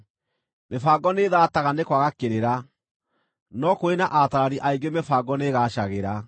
Mĩbango nĩĩthaataga nĩ kwaga kĩrĩra, no kũrĩ na ataarani aingĩ mĩbango nĩĩgaacagĩra.